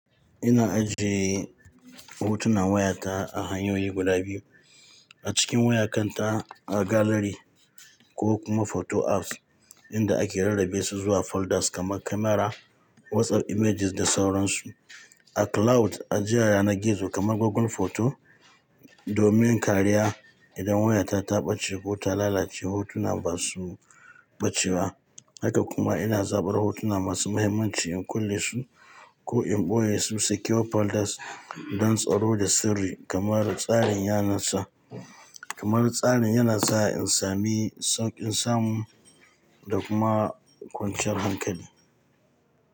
Ina ajiye hotunan wayata a hanyoyi guda biyu: a cikin wayar kanta a gallery ko kuma photo apps inda ake rarrabe su zuwa folders kamar Camera, WhatsApp images da sauran su. A cloud ajiyaya na gizo kamar Google Photo domin kariya idan wayata ta ɓace ko ta lalace hotuna ba su ɓace ba. Haka kuma ina zaɓar hotuna masu mahimmanci in kulle su ko in ɓoye su secure folders don tsaro da sirri kamar tsarin yanarsa. Kamar tsarin yana sa in sami sauƙin samu da kuma kwanciyar hankali.